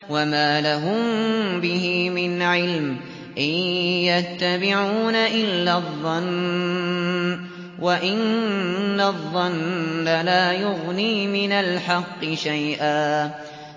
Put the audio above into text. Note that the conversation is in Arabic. وَمَا لَهُم بِهِ مِنْ عِلْمٍ ۖ إِن يَتَّبِعُونَ إِلَّا الظَّنَّ ۖ وَإِنَّ الظَّنَّ لَا يُغْنِي مِنَ الْحَقِّ شَيْئًا